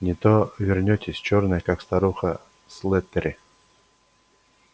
не то вернётесь чёрная как старуха слэттери